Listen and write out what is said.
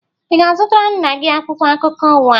Ị ga-azutara nna gi akwụkwo akụko ụwa?